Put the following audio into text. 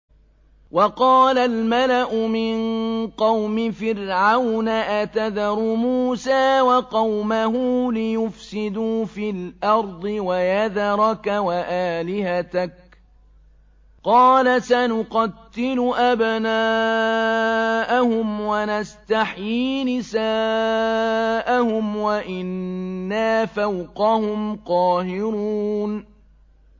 وَقَالَ الْمَلَأُ مِن قَوْمِ فِرْعَوْنَ أَتَذَرُ مُوسَىٰ وَقَوْمَهُ لِيُفْسِدُوا فِي الْأَرْضِ وَيَذَرَكَ وَآلِهَتَكَ ۚ قَالَ سَنُقَتِّلُ أَبْنَاءَهُمْ وَنَسْتَحْيِي نِسَاءَهُمْ وَإِنَّا فَوْقَهُمْ قَاهِرُونَ